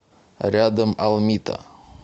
рядом алмита